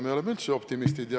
Me oleme üldse optimistid.